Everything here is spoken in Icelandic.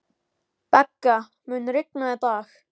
Begga, mun rigna í dag?